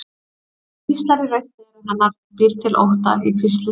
Hann hvíslar í rautt eyra hennar, býr til ótta í hvíslið.